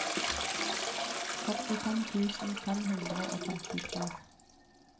førtifem tusen fem hundre og femtitre